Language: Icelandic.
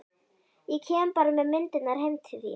Ég kem bara með myndirnar heim til þín.